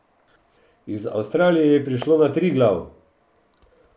Iz Avstralije je prišlo na Triglav!